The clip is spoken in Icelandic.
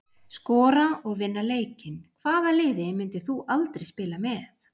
Skora og vinna leikinn Hvaða liði myndir þú aldrei spila með?